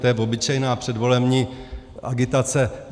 To je obyčejná předvolební agitace.